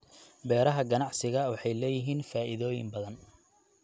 Beeraha ganacsiga waxay leeyihiin faa'iidooyin badan.